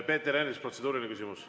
Peeter Ernits, protseduuriline küsimus.